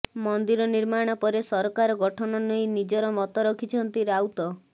ମନ୍ଦିର ନିର୍ମାଣ ପରେ ସରକାର ଗଠନ ନେଇ ନିଜର ମତ ରଖିଛନ୍ତି ରାଉତ